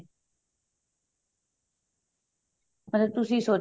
ਮਤਲਬ ਤੁਸੀਂ